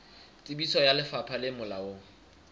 tsebiso ya lefapha le molaong